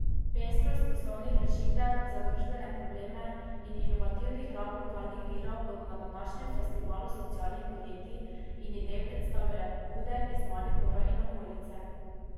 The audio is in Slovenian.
Pestrost poslovnih rešitev za družbene probleme in inovativnih rab lokalnih virov bodo na današnjem Festivalu socialnih podjetij in idej predstavile pobude iz Maribora in okolice.